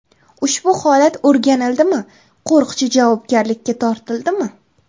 Ushbu holat o‘rganildimi, qo‘riqchi javobgarlikka tortildimi?